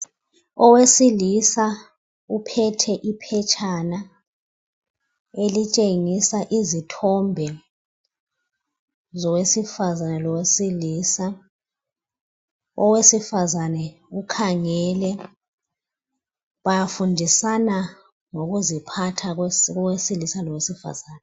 Owesilisa uphethe iphetshana elitshengisa izithombe zowesifazana lowesilisa. Owesifazane ukhangele bafundisana ngokuziphatha kowesilisa lowesifazana.